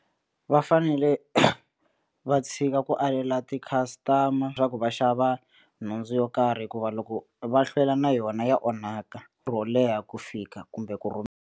Va fanele va tshika ku alela ti-customer-a swa ku va xava nhundzu yo karhi hikuva loko va hlwela na yona ya onhaka ro leha ku fika kumbe ku .